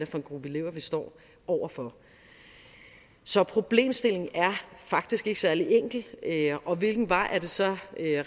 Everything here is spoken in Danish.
for en gruppe elever vi står over for så problemstillingen er faktisk ikke særlig enkel og hvilken vej er det så